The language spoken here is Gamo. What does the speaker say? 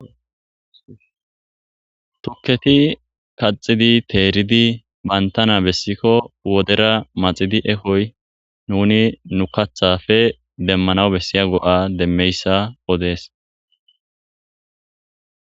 Tukketi kaxidi teeridi bantana bessikko wodera maxidi ekoy nuni nu kathafe demmanaw bessiya go'a demmeyssa odees.